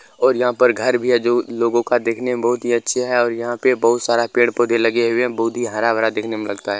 और यहाँ पर घर भी है जो लोगो को देखने में बहुत ही अच्छे लग रहे है और यहां पे बहुत सारे पेड़-पौधे लगे हुए है बहुत ही हरा-भरा देखने में लगता है।